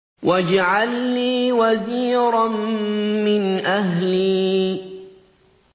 وَاجْعَل لِّي وَزِيرًا مِّنْ أَهْلِي